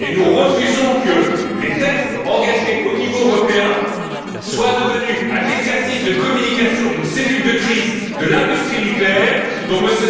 Nous refusons que les tests engagés au niveau européen soient devenus un exercice de communication d'une cellule de crise de l'industrie nucléaire dont M.